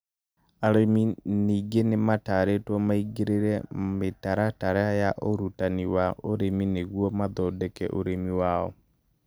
Arĩmi ningĩ nĩmatarĩtwo maingĩre mĩtaratara ya ũrutani wa ũrĩmi nĩguo mathondeke ũrĩmi wao